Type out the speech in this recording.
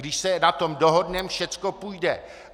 Když se na tom dohodneme, všechno půjde.